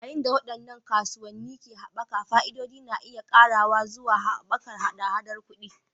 Yayin da waɗannan kasuwanni ke haɓaka, fa'idodin na iya ƙarawa zuwa haɓakar haɗa-haɗar kuɗi.